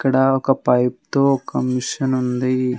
ఇక్కడ ఒక పైప్ తోఒక మిషన్ ఉంది.